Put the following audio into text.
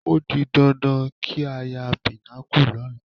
Ó di dandan kí n ya Pinnacle lọ́la